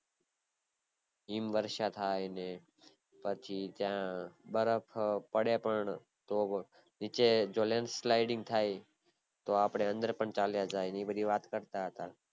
હિમવર્ષા થાય ને પછી ત્યાં બરફ પડે પણ તો નીચે જો land sliding થાય તો અપડે અંદર પણ ચલા જઈએ એ બધી વાત કરતા હતા